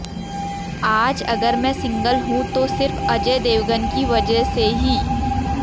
आज अगर मैं सिंगल हूं तो सिर्फ अजय देवगन की वजह से ही